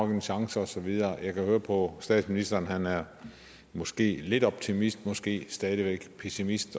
er en chance og så videre jeg kan høre på statsministeren at han er måske lidt optimist måske stadig væk pessimist